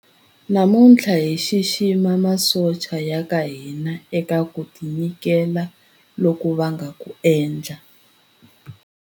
Namuntlha hi xixima masocha ya ka hina eka ku tinyiketela loku va nga ku endla.